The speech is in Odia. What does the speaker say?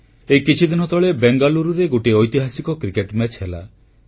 ଏହି କିଛିଦିନ ତଳେ ବେଙ୍ଗାଲୁରୁରେ ଗୋଟିଏ ଐତିହାସିକ କ୍ରିକେଟ ମ୍ୟାଚ ହେଲା